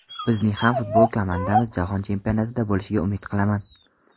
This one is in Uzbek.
Bizning ham futbol komandamiz jahon chempionatida bo‘lishiga umid qilaman”.